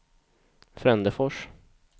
Frändefors